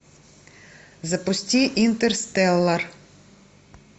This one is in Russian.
запусти интерстеллар